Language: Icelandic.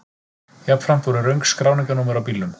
Jafnframt voru röng skráningarnúmer á bílnum